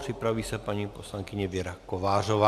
Připraví se paní poslankyně Věra Kovářová.